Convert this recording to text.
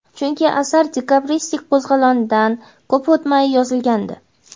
chunki asar dekabristlar qo‘zg‘olonidan ko‘p o‘tmay yozilgandi.